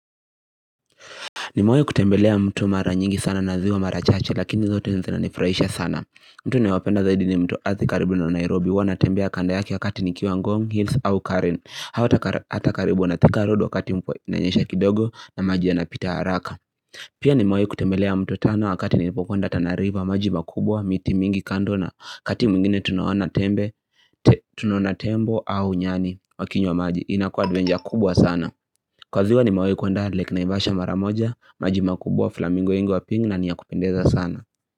Nimewahi kutembelea mto mara nyingi sana na ziwa mara chache lakini zote zinanifurahisha sana mto ninaopenda zaidi ni mto Athi karibu na Nairobi huwa natembea kando yake wakati nikiwa ngong Hills au Karen au hata karibu Thika road wakati mvua inanyesha kidogo na maji yanapita haraka Pia nimewahi kutembelea mto Tana wakati nilipokwenda Tana River maji makubwa miti mingi kando na wakati mwingine tunaona tembe tunaona tembo au nyani wakinywa maji inakua adventure kubwa sana Kwa ziwa nimewahikwenda lake Naivasha mara moja, maji makubwa flamingo wengi wa pink na ni ya kupendeza sana.